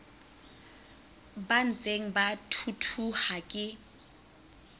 ba ntseng ba thuthuha ke